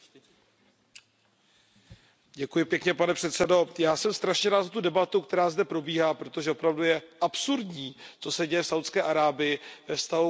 Pane předsedající, já jsem strašně rád za tu debatu, která zde probíhá, protože opravdu je absurdní, co se děje v Saudské Arábii ve vztahu k aktivistům, kteří bojují za ženská práva.